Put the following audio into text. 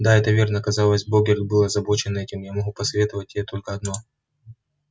да это верно казалось богерт был озабочен этим я могу посоветовать тебе только одно